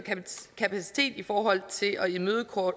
kapacitet i forhold til at imødekomme